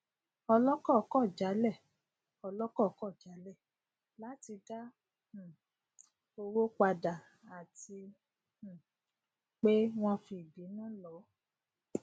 ọlọkọ kọ jálẹ ọlọkọ kọ jálẹ láti dá um owó padà àti um pé wọn fi ìbínú lọ